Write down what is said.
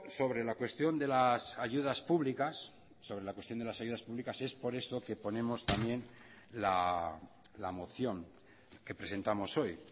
sobre la cuestión de las ayudas públicas sobre la cuestión de las ayudas públicas es por esto que ponemos también la moción que presentamos hoy